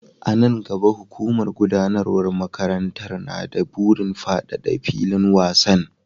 A nan gaba, hukumar gudanarwar makarantar na da burin fadada filin wasan.